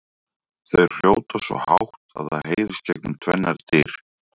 Þau hrjóta svo hátt að það heyrist gegnum tvennar dyr!